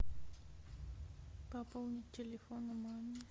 пополнить телефон маме